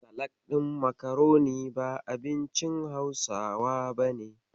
Salak ɗin makaroni ba abincin Hausawa bane.